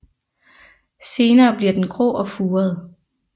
Senere bliver den grå og furet